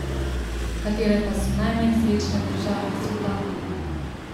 Katere pa so najmanj srečne države sveta?